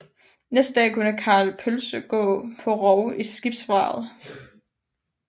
Næste dag kunne Karl Pølse så gå på rov i skibsvraget